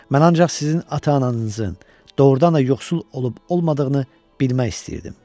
Mən ancaq sizin ata-ananızın doğurdan da yoxsul olub-olmadığını bilmək istəyirdim.